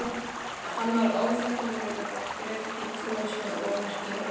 Hann var óþekkjanlegur og fleygt í kös með ómerkingum.